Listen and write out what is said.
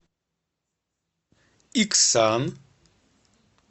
иксан